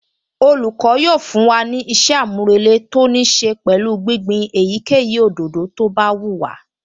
Olùkọ́ yóò fún wa ní ìṣe-àmúrelé tó níí ṣe pẹ̀lú gbígbin èyíkéyìí òdòdó tó bá wù wá